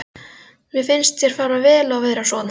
Mér finnst þér fara vel að vera svona.